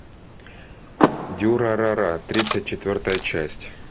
дюрарара тридцать четвертая часть